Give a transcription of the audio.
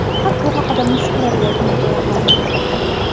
Faqat bu haqida mushuklarga aytmay qo‘yaqoling!